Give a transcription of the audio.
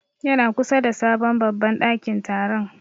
Ya na kusa da sabon babban ɗakin taron.